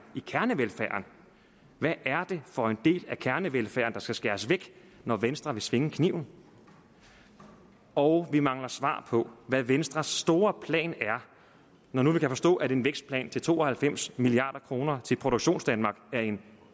i kernevelfærden hvad er det for en del af kernevelfærden der skal skæres væk når venstre vil svinge kniven og vi mangler svar på hvad venstres store plan er når nu vi kan forstå at en vækstplan til to og halvfems milliard kroner til produktionsdanmark er en